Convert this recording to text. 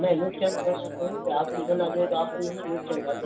ની નુકસાન તો હું આપડી જ અનાજ હોય તો આપડને શું નુકસાન થાય